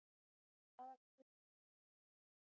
Hraðakstur í Húnaþingi